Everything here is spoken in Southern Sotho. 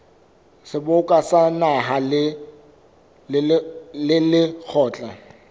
seboka sa naha le lekgotla